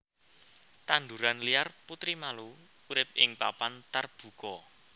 Tanduran liar putri malu urip ing papan tarbuka